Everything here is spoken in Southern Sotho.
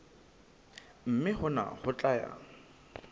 mme hona ho tla ya